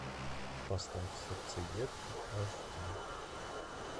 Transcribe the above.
поставь сердцеедка аш ди